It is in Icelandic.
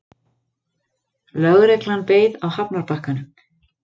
Lögreglan beið á hafnarbakkanum.